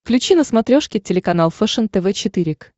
включи на смотрешке телеканал фэшен тв четыре к